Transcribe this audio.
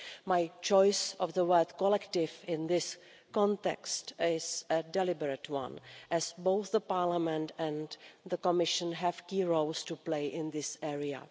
My choice of the word collective' in this context is a deliberate one, as both Parliament and the Commission have key roles to play in this area.